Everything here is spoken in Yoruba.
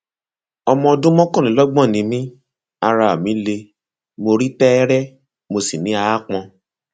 ọmọ ọdún mọkànlélọgbọn ni mí ara mi le mo rí tẹẹrẹ mo sì ní aápọn